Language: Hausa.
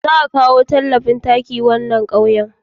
Za a akawo talafin taki wannan ƙauyen